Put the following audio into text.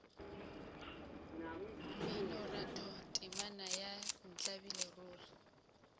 mminoratho temana ya ntlabile ruri